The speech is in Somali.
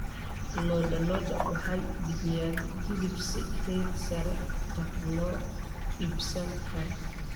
Lo'da lo'da waxay bixiyaan hilib si heer sare ah loo iibsan karo.